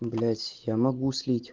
блять я могу слить